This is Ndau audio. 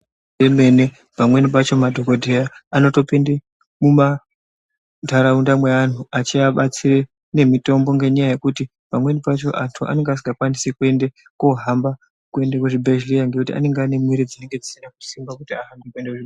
Imweni pamweni pacho madhokodheya anopinda mundaraunda mevanhu achivabatsira mitombo ngenda yekuti pamweni pacho antu anenge asingakwanisi kohamba kuenda kuzvibhedhlera Ngekuti anenge ane mwiri dzisina kusimba.